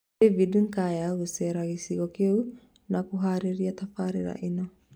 David Nkya gũcera gĩcigo kĩu na kũharĩrĩria tabarĩra ĩno